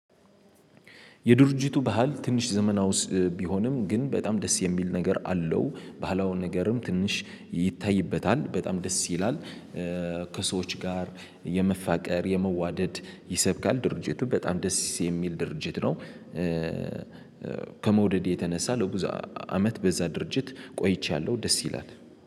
የድርጅቱ ባህል ትንሽ ዘመናውስ ቢሆንም ግን በጣም ደስ የሚል ነገር አለው ባህላውን ነገርም ትንሽ ይታይበታል በጣም ደስ ይላል። ከሰዎች ጋር የመፋቀር የመዋደድ ይሰብካል ድርጅቱ በጣም ደስ የሚል ድርጅት ነው። ከመውደድ የተነሳ ለብዙ አመት በዛ ድርጅት ቆይቻለሁ ደስ ይላታል